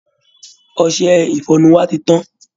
Ọṣẹ ìfọnu wa ti tán